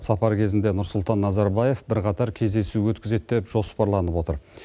сапар кезінде нұрсұлтан назарбаев бірқатар кездесу өткізеді деп жоспарланып отыр